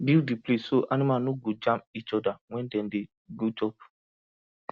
build the place so animals no go jam each other when dem dey go chop